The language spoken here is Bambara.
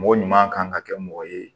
Mɔgɔ ɲuman kan ka kɛ mɔgɔ ye